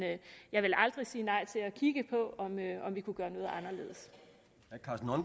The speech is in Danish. jeg vil aldrig sige nej til at kigge på om vi kan gøre